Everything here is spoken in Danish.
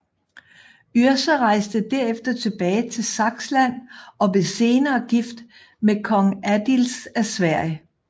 Yrsa rejste derefter tilbage til Saksland og blev senere gift med kong Adils af Sverige